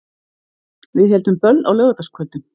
Við héldum böll á laugardagskvöldum.